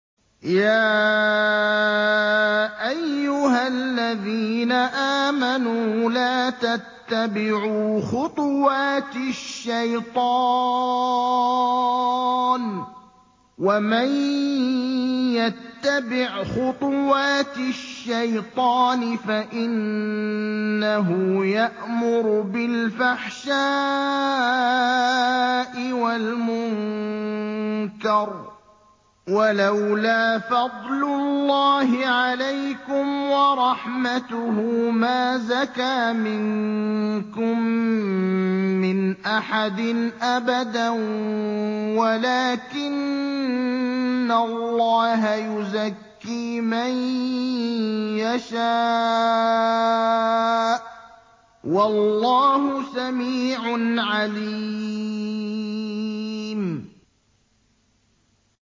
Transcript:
۞ يَا أَيُّهَا الَّذِينَ آمَنُوا لَا تَتَّبِعُوا خُطُوَاتِ الشَّيْطَانِ ۚ وَمَن يَتَّبِعْ خُطُوَاتِ الشَّيْطَانِ فَإِنَّهُ يَأْمُرُ بِالْفَحْشَاءِ وَالْمُنكَرِ ۚ وَلَوْلَا فَضْلُ اللَّهِ عَلَيْكُمْ وَرَحْمَتُهُ مَا زَكَىٰ مِنكُم مِّنْ أَحَدٍ أَبَدًا وَلَٰكِنَّ اللَّهَ يُزَكِّي مَن يَشَاءُ ۗ وَاللَّهُ سَمِيعٌ عَلِيمٌ